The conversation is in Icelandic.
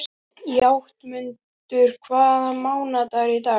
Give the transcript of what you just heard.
Játmundur, hvaða mánaðardagur er í dag?